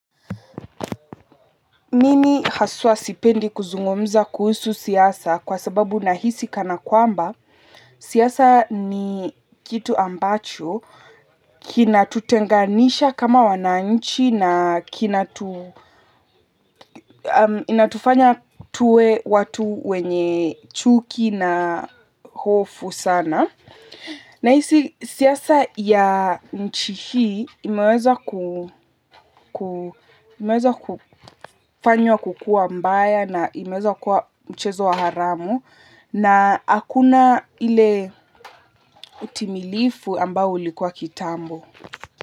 Mimi haswa sipendi kuzungumza kuhusu siasa kwa sababu nahisi kana kwamba, siasa ni kitu ambacho kinatutenganisha kama wananchi na inatufanya tuwe watu wenye chuki uovu sana. Na hizi siasa ya nchi hii imeweza kufanywa kukuwa mbaya na imeweza kuwa mchezo wa haramu. Na hakuna ile hutimilifu amba ulikuwa kitambo.